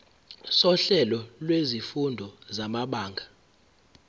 sohlelo lwezifundo samabanga